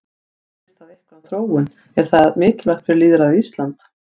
Segir það eitthvað um þróun, er það mikilvægt fyrir lýðræðið á Íslandi?